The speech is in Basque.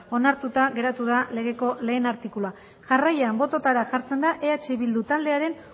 onartuta geratu da legeko lehen artikulua jarraian bototara jartzen da eh bildu taldearen